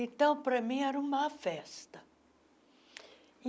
Então, para mim, era uma festa.